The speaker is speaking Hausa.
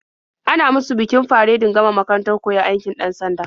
An musu bikin faredin gama makarantar koyon aikin 'dan-sanda.